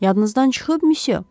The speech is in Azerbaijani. Yadınızdan çıxıb, misyo.